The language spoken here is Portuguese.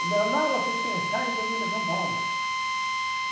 O normal é vocês pensarem que eu vim para São Paulo.